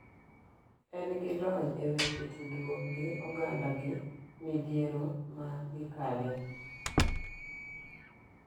En gi lony e weche tudruok gi oganda gi midhiero ma gi kale.